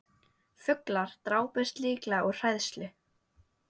Fuglar drápust líklega úr hræðslu